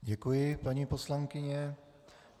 Děkuji, paní poslankyně.